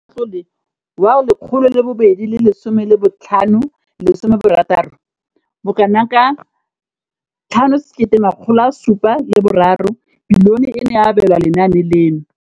Mo ngwageng wa matlole wa 2015,16, bokanaka R5 703 bilione e ne ya abelwa lenaane leno.